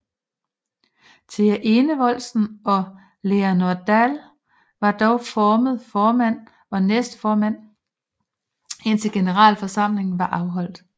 Thea Enevoldsen og Leanor Dall var dog formelt formand og næstformand indtil generalforsamlingen var afholdt